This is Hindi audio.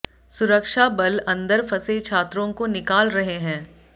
सुरक्षा बल अंदर फंसे छात्रों को निकाल रहे हैं